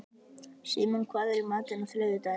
Símon, hvað er í matinn á þriðjudaginn?